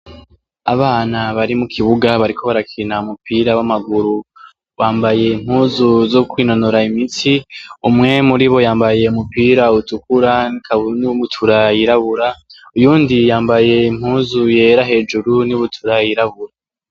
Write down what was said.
Abana bari mu kibuga bariko barakina umupira w'amaguru yambaye impuzu zo kwinonora imitsi umwe muri bo yambaye umupira utukura n'ubutura yirabura uyundi yambaye impuzu yera hejuru n'ibutura yirabura.